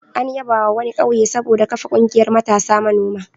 An yabawa wani ƙauye saboda kafa ƙungiyar matasa manoma.